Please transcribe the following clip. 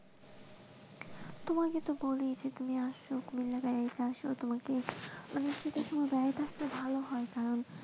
তোমাকে তো বলি তুমি আসো তোমাকে ভালো হয় তাহলে,